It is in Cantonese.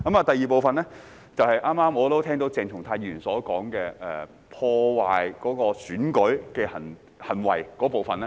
第二部分，便是剛剛我聽到鄭松泰議員所說有關破壞選舉的行為那部分。